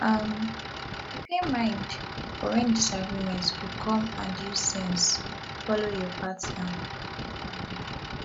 um prepare mind for when disagreement go come and use sense follow your partner um